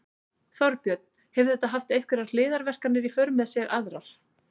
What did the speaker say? Þorbjörn: Hefur þetta haft einhverjar hliðarverkanir í för með sér aðrar?